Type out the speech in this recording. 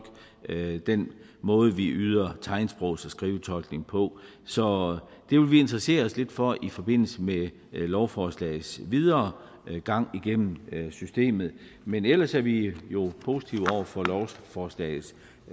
den måde vi yder tegnsprogs og skrivetolkning på så det vil vi interessere os lidt for i forbindelse med lovforslagets videre gang igennem systemet men ellers er vi jo positive over for lovforslagets